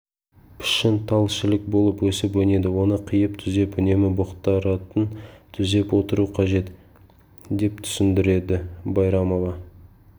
пішін тал-шілік болып өсіп-өнеді оны қиып күзеп үнемі бұтақтарын түзеп отыру қажет деп түсіндірді байрамова